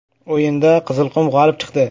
O‘yinda “Qizilqum” g‘olib chiqdi.